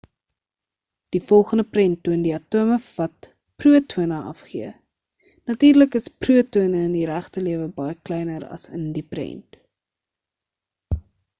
die volgende prent toon die atome wat protone afgee natuurlik is protone in die regte lewe baie kleiner as in die prent